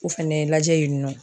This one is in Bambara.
o fɛnɛ lajɛ yen nɔ